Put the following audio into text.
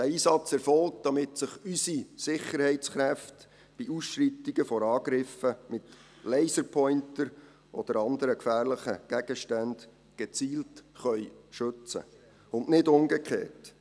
– Dieser Einsatz erfolgt, damit sich unsere Sicherheitskräfte bei Ausschreitungen vor Angriffen mit Laserpointern oder anderen gefährlichen Gegenständen gezielt schützen können, und nicht umgekehrt.